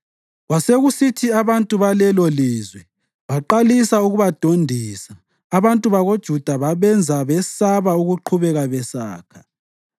Kwasekusithi abantu balelolizwe baqalisa ukubadondisa abantu bakoJuda babenza besaba ukuqhubeka besakha.